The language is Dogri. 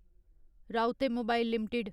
राउते मोबाइल लिमिटेड